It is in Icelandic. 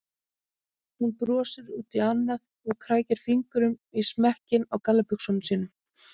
Hún brosir út í annað og krækir fingrum í smekkinn á gallabuxunum.